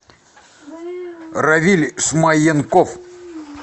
равиль смаенков